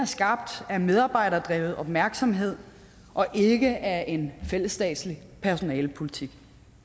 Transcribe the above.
skabt af medarbejderdrevet opmærksomhed og ikke af en fællesstatslig personalepolitik